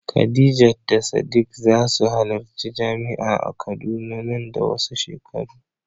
Khadija da Sadiq za su halarci jami'a a Kaduna nan da wasu shekaru.